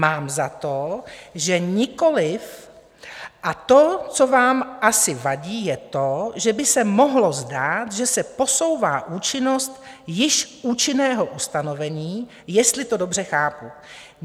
Mám za to, že nikoliv, a to, co vám asi vadí, je to, že by se mohlo zdát, že se posouvá účinnost již účinného ustanovení, jestli to dobře chápu.